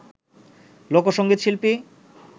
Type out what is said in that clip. লোকসঙ্গীত শিল্পী